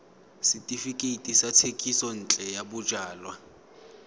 setefikeiti sa thekisontle ya bojalwa